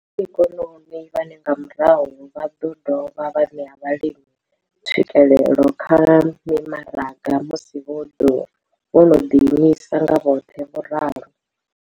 vhoraikonomi vhane nga murahu vha ḓo dovha vha ṋea vhalimi tswikelelo kha mimaraga musi vho no ḓiimisa nga vhoṱhe, vho ralo.